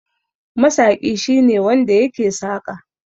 Masaƙi shine wanda yake saƙa.